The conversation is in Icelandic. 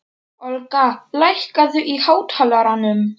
Olga, lækkaðu í hátalaranum.